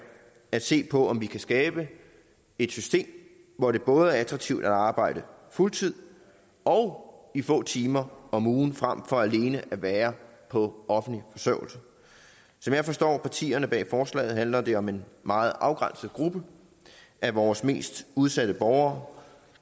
at se på om vi kan skabe et system hvor det både er attraktivt at arbejde fuld tid og i få timer om ugen frem for alene at være på offentlig forsørgelse som jeg forstår partierne bag forslaget handler det om en meget afgrænset gruppe af vores mest udsatte borgere